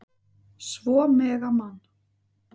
Svo mega Man.